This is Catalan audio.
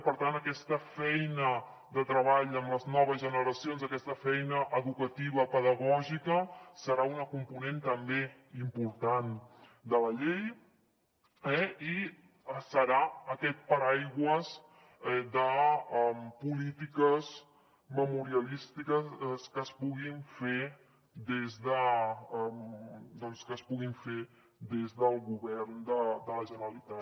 per tant aquesta feina amb les noves generacions aquesta feina educativa pedagògica serà una component també important de la llei i serà aquest paraigua de polítiques memorialístiques que es puguin fer des del govern de la generalitat